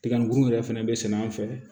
Tigabu yɛrɛ fɛnɛ bɛ sɛnɛ an fɛ